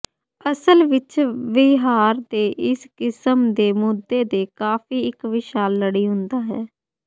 ਅਸਲ ਵਿਚ ਵਿਹਾਰ ਦੇ ਇਸ ਕਿਸਮ ਦੇ ਮੁੱਦੇ ਦੇ ਕਾਫ਼ੀ ਇੱਕ ਵਿਸ਼ਾਲ ਲੜੀ ਹੁੰਦਾ ਹੈ